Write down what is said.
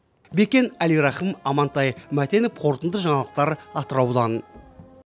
бекен әлирахым амантай мәтенов қорытынды жаңалықтар атыраудан